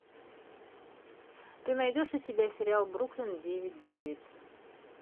ты найдешь у себя сериал бруклин девять девять